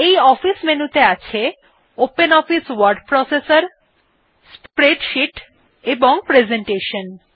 এই office menu ত়ে আছে ওপেনঅফিস ওয়ার্ড প্রসেসর স্প্রেডশীট এবং প্রেজেন্টেশন